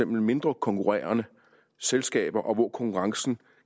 mindre konkurrerende selskaber og hvor konkurrencen